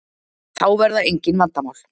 Þá verða engin vandamál.